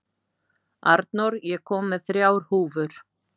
Arnór, ég kom með þrjár húfur!